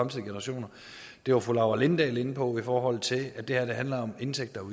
generationer og det var fru laura lindahl inde på i forhold til at det her handler om indtægter